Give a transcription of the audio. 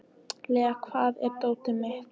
Lea, hvar er dótið mitt?